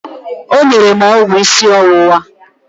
O nyere m ọgwụ ịsị ọwụwa.